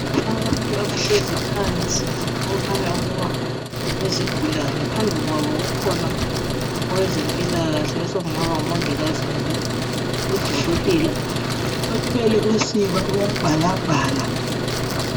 Abantu abahlezi phansi okukhanya ukuba yizigulane. Phambi kwabo kukhona owezempilakahle osokungaba ngumongikazi kumbe udokotela ,uthwele usiba uyabhalabhala.